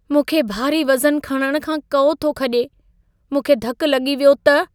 मूंखे भारी वज़न खणण खां कउ थो खॼे। मूंखे धक लॻी वियो त?